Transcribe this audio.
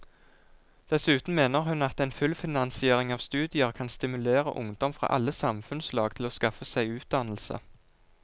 Dessuten mener hun at en fullfinansiering av studier kan stimulere ungdom fra alle samfunnslag til å skaffe seg utdannelse.